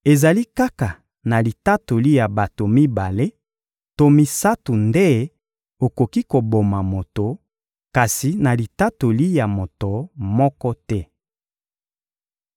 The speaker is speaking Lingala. Ezali kaka na litatoli ya bato mibale to misato nde okoki koboma moto, kasi na litatoli ya moto moko te.